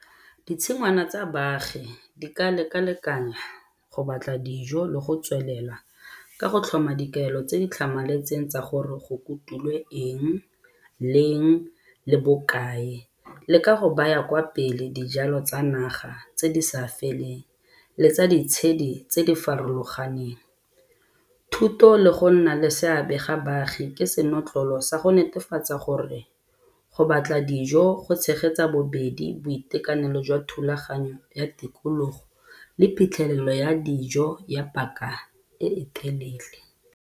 Ditshingwana tsa baagi di ka lekalekanya go batla dijo le go tswelela ka go tlhoma dikaelo tse di tlhamaletseng tsa gore go kutulwe eng, leng le bokae le ka go baya kwa pele dijalo tsa naga tse di sa feleng le tsa ditshedi tse di farologaneng. Thuto le go nna le seabe ga baagi ke senotlolo sa go netefatsa gore go batla dijo go tshegetsa bobedi boitekanelo jwa thulaganyo ya tikologo le phitlhelelo ya dijo ya paka e e telele.